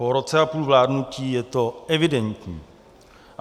Po roce a půl vládnutí je to evidentní.